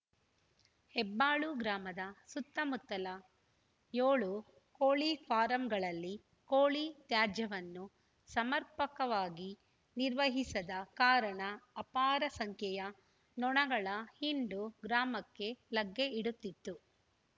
ಹೆಬ್ಬಾಳು ಗ್ರಾಮದ ಸುತ್ತಮುತ್ತಲ ಏಳು ಕೋಳಿ ಫಾರಂಗಳಲ್ಲಿ ಕೋಳಿ ತ್ಯಾಜ್ಯವನ್ನು ಸಮರ್ಪಕವಾಗಿ ನಿರ್ವಹಿಸದ ಕಾರಣ ಅಪಾರ ಸಂಖ್ಯೆಯ ನೊಣಗಳ ಹಿಂಡು ಗ್ರಾಮಕ್ಕೆ ಲಗ್ಗೆ ಇಡುತ್ತಿತ್ತು